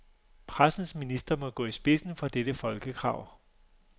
Pressens minister må gå i spidsen for dette folkekrav.